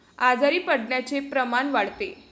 आजारी पडण्याचे प्रमाण वाढते.